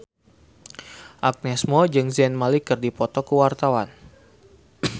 Agnes Mo jeung Zayn Malik keur dipoto ku wartawan